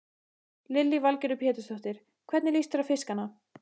Lillý Valgerður Pétursdóttir: Hvernig líst þér á fiskana?